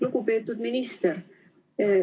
Lugupeetud minister!